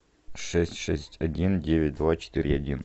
шесть шесть один девять два четыре один